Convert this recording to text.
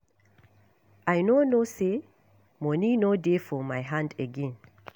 I no know say money no dey for my hand again